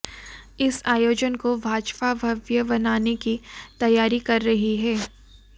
इस आयोजन को भाजपा भव्य बनाने की तैयारी कर रही है